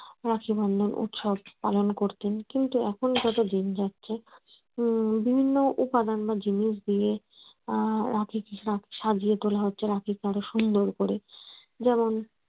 রাখি বন্ধন উৎসব পালন করতেন কিন্তু এখন যত দিন যাচ্ছে বিভিন্ন রকম উপাদান ও জিনিস দিয়ে রাখি কে সাজিয়ে তোলা হচ্ছে রাখি কে আরো সুন্দর করে যেমন